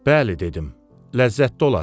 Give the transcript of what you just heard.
Bəli dedim, ləzzətli olar.